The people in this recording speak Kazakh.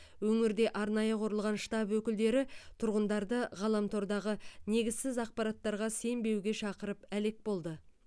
өңірде арнайы құрылған штаб өкілдері тұрғындарды ғаламтордағы негізсіз ақпараттарға сенбеуге шақырып әлек болды